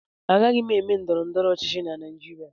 Agaghị m eme ndọrọndọrọ ọchịchị na Naịjirịa